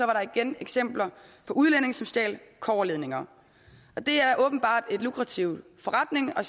var der igen eksempler på udlændinge som stjal kobberledninger det er åbenbart en lukrativ forretning at